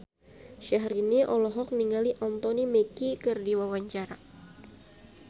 Syahrini olohok ningali Anthony Mackie keur diwawancara